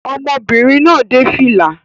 Ọmọbìnrin náà dé fìlà